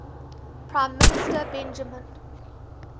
prime minister benjamin